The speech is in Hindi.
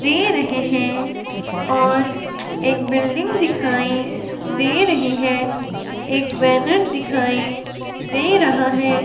दे रहे हैं और एक बिल्डिंग दिखाएं दे रही है। एक बैनर दिखाई दे रहा है।